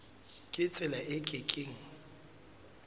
ka tsela e ke keng